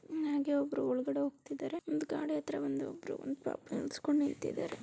ಇವನಾಗೆ ಒಬ್ರು ಒಳಗಡೆ ಹೋಗ್ತಿದಾರೆ ಒಂದು ಗಾಡಿ--